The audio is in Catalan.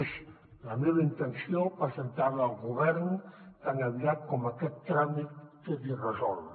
és la meva intenció presentar la al govern tan aviat com aquest tràmit quedi resolt